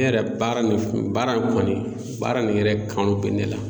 Ne yɛrɛ baara nin f baara in kɔni baara nin yɛrɛ kanu bɛ ne la.